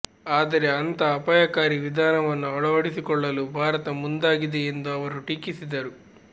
ಆದರೆ ಅಂಥ ಅಪಾಯಕಾರಿ ವಿಧಾನವನ್ನು ಅಳವಡಿಸಿಕೊಳ್ಳಲು ಭಾರತ ಮುಂದಾಗಿದೆ ಎಂದು ಅವರು ಟೀಕಿಸಿದರು